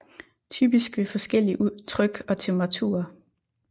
Typisk ved forskellig tryk og temperaturer